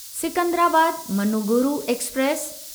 Secunderabad Manuguru express